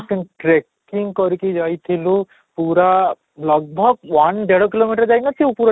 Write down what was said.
contracting କରିକି ଯାଇଥିଲୁ ପୁରା one ଦେଢ଼ kilo meter ଯାଇ ନ ଥିବ